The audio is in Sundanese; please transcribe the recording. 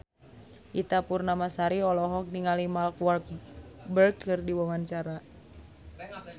Ita Purnamasari olohok ningali Mark Walberg keur diwawancara